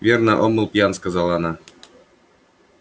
верно он был пьян сказала она